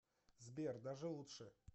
сбер даже лучше